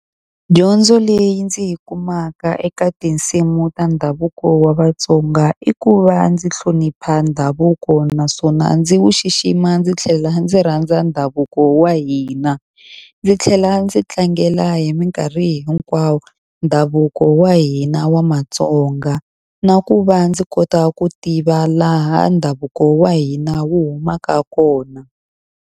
Dyondzo leyi ndzi yi kumaka eka tinsimu ta ndhavuko wa Vatsonga i ku va ndzi hlonipha ndhavuko. Naswona ndzi wu xixima ndzi tlhela ndzi rhandza ndhavuko wa hina. Ndzi tlhela ndzi tlangela hi minkarhi hinkwawo ndhavuko wa hina wa Mtsonga. Na ku va ndzi kota ku tiva laha ndhavuko wa hina wu humaka kona.